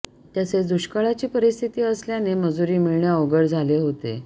तसेच दुष्काळाची परिस्थिती असल्याने मजुरी मिळणे अवघड झाले होते